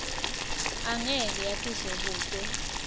angeke yatiswe kute